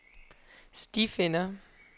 stifinder